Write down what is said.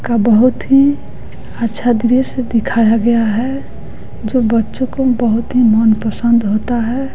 का बहुत ही अच्छा दृश्य दिखाया गया है जो बच्चों को बहुत ही मनपसंद होता है।